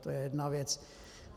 To je jedna věc.